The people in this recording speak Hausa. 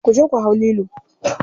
Kuje ku hau lilo.